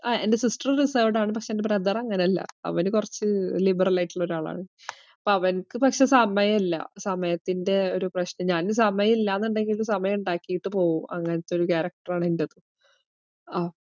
ആഹ് എൻ്റെ sister reserved ആണ്. പക്ഷേ എൻ്റെ brother അങ്ങനല്ല. അവന് കൊറച് liberal ആയിട്ടുള്ളൊരാളാണ്. അപ്പോ അവനിക്ക് പക്ഷെ സമയില്ല. സമയത്തിൻറെ ഒരു പ്രശ്നം. ഞാന് സമയം ഇല്ലാന്നുണ്ടെങ്കില് സമയം ഇണ്ടാക്കീട്ട് പോവും. അങ്ങനത്തൊരു character ആണ് എന്റെത്.